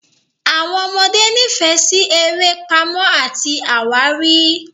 Àwọn ọmọdé nífẹ̀ẹ́ sí eré Pàmò àti àwárí.